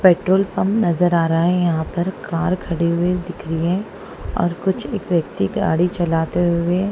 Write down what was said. petrol pump नजर आ रहा हैं यहाँ पर कार खड़ी हुए दिख रहीं हैं और कुछ एक व्यक्ति गाड़ी चलाते हुवे--